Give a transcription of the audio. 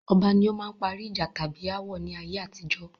Ọba ní ó máa ń parí ìjà tàbí ááwọ̀ ni ayé àtijọ́.